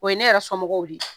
O ye ne yɛrɛ sɔmɔgɔw di.